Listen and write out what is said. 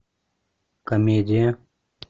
комедия